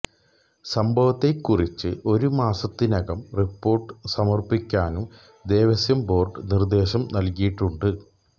സംഭവത്തെക്കുറിച്ച് ഒരു മാസത്തിനകം റിപ്പോര്ട്ട് സമര്പ്പിക്കാനും ദേവസ്വം ബോര്ഡ് നിര്ദ്ദേശം നല്കിയിട്ടുണ്ട്